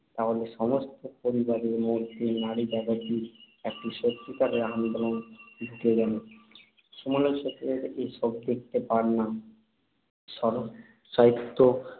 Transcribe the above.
তাহলে সমস্ত পরিবারের মধ্যেই নারীজাগৃতির একটি সত্যিকারের আন্দোলন ঢুকে গেল। সমালোচকরা এসব দেখতে পান না। শরৎসাহিত্যে